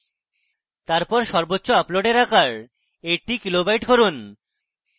তারপর সর্বোচ্চ আপলোডের আকার 80 কিলোবাইট করুন